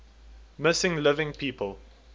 missing living people